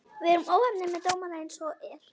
Við erum óheppnir með dómara eins og er.